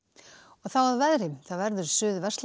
þá að veðri það verður